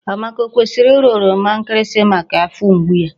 Amaka o kwesịrị ịra oroma nkịrịsị maka afọ mgbu?